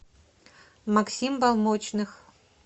максим балмочных